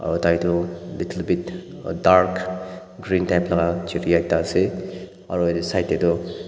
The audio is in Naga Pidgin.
Aro tai toh little bit dark green type laka chiriya ase aro yatae side tae tu --